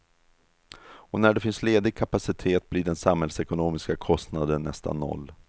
Och när det finns ledig kapacitet blir den samhällsekonomiska kostnaden nästan noll.